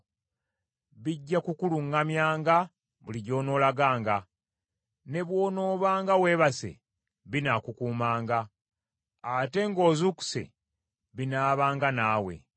Bijja kukuluŋŋamyanga buli gy’onoolaganga, ne bw’onoobanga weebase binaakukuumanga, ate ng’ozuukuse binaabanga naawe.